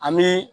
Ani